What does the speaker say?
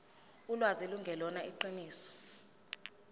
ulwazi lungelona iqiniso